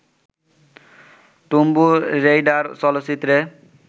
tomb Raider চলচ্চিত্রে